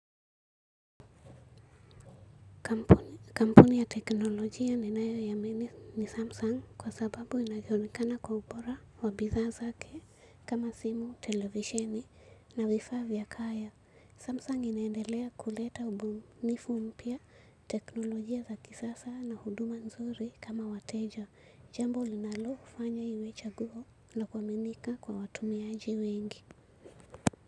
Kampuni ya teknolojia ninayoiamini ni Samsung kwa sababu inajulikana kwa ubora wa bidhaa zake kama simu, televisheni na vifaa vya kaya. Samsung inaendelea kuleta ubunifu mpya teknolojia za kisasa na huduma nzuri kama wateja. Jambo linalofanya iwe chaguo lakuaminika kwa watumiaji wengi.